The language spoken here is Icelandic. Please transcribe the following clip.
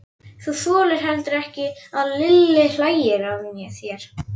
Þú þolir heldur ekki að Lilli hlæi að þér.